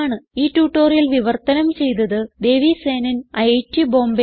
ഈ ട്യൂട്ടോറിയൽ വിവർത്തനം ചെയ്തത് ദേവി സേനൻ ഐറ്റ് ബോംബേ